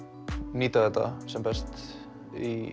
nýta þetta sem best í